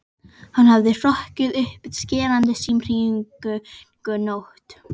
Hann hafði hrokkið upp við skerandi símhringingu nótt